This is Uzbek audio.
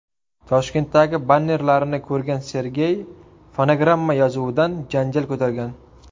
Toshkentdagi bannerlarini ko‘rgan Sergey, fonogramma yozuvidan janjal ko‘targan.